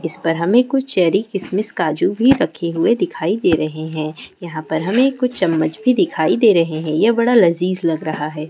इस पर हमें कुछ चेरी किशमिश काजू भी रखे हुए दिखाई दे रहे हैं| यहाँ पर हमें कुछ चम्मच भी दिखाई दे रहे हैं यह बड़ा लजीज लग रहा है।